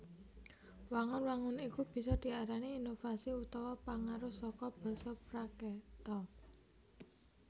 Wangun wangun iku bisa diarani inovasi utawa pangaruh saka basa Prakreta